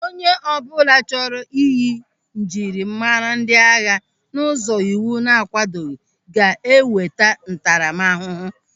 Onye ọbụla chọrọ ịyị njirimara ndị agha n'ụzọ iwu na-akwadoghị ga-enweta ntaramahụhụ.